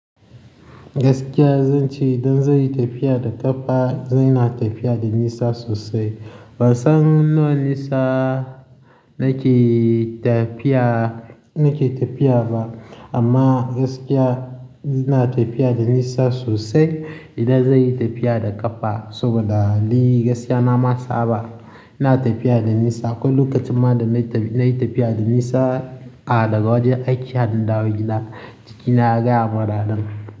Gaskiya zan ce idan zan yi tafiya da ƙafa, zan yi tafiya da nisa sosai. Ban san wannan nisa nake tafiya, nake tafiya ba. Amma gaskiya ina tafiya da nisa sosai idan zan yi tafiya da ƙafa. Saboda ni gaskiya na ma saba ina tafiya da nisa. Akwai lokacin ma da na yi tafiya da nisa a gaba daya a gajiya na dawo gida, jikina ya gaya mun ranan.